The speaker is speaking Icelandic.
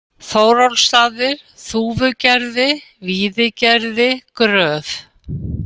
Þórólfsstaðir, Þúfugerði, Víðigerði, Gröf